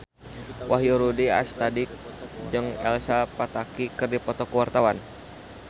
Wahyu Rudi Astadi jeung Elsa Pataky keur dipoto ku wartawan